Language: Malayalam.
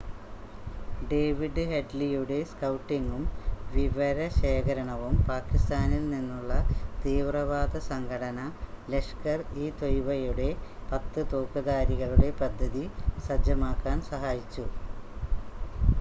ഡേവിഡ് ഹെഡ്‌ലിയുടെ സ്‌കൗട്ടിങ്ങും വിവരശേഖരണവും പാകിസ്ഥാനിൽ നിന്നുള്ള തീവ്രവാദ സംഘടന ലഷ്കർ-ഇ-ത്വയ്യിബയുടെ 10 തോക്ക്ധാരികളുടെ പദ്ധതി സജ്ജമാക്കാൻ സഹായിച്ചു